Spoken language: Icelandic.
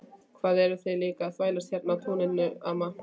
Hvað eruð þið líka að þvælast hérna á túninu amma?